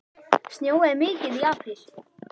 Snjóaði mikið í apríl?